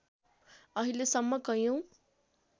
अहिले सम्म कैयौँ